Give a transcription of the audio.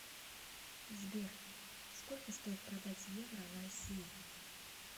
сбер сколько стоит продать евро в россии